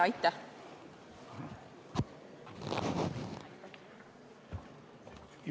Aitäh!